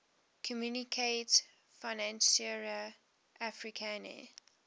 communaute financiere africaine